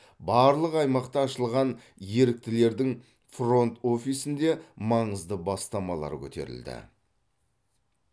барлық аймақта ашылған еріктілердің фронт офисінде маңызды бастамалар көтерілді